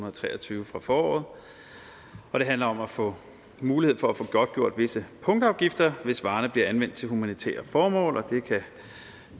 og tre og tyve fra foråret og det handler om at få mulighed for at få godtgjort visse punktafgifter hvis varerne bliver anvendt til humanitære formål og det